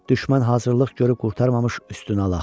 Düşmən hazırlıq görüb qurtarmamış üstünə alaq.